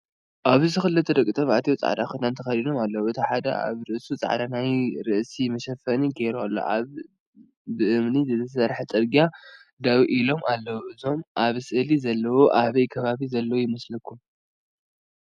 ኣብዚ ክልተ ደቂ ተባዕትዮ ፃዕዳ ክዳን ተከዲኖም ኣለው። እቲ ሓደ ኣብ ርእሱ ፃዕዳ ናይ ርእሲ መሸፈኒ ገይሩ ኣሎ። ኣብ ብእምኒ ዝተሰርሐ ፅርግያ ደው ኢሎም ኣለው። እዞም ኣብ ስእሊ ዘለው ኣበይ ከባቢ ዘለው ይመስለኩም?